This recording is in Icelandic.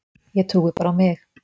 Ég trúi bara á mig.